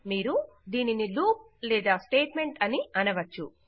మీరు దీనిని లూప్ లేదా స్టేట్ మెంట్ అని అనవచ్చు